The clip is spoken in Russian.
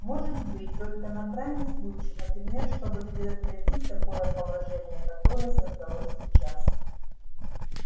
может быть только на крайний случай например чтобы предотвратить такое положение которое создалось сейчас